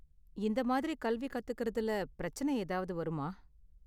இந்த மாதிரி கல்வி கத்துக்கிறதுல பிரச்சனை ஏதாவது வருமா?